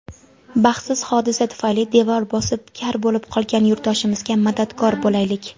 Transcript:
Baxtsiz hodisa tufayli devor bosib kar bo‘lib qolgan yurtdoshimizga madadkor bo‘laylik!.